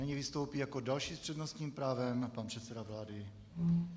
Nyní vystoupí jako další s přednostním právem pan předseda vlády.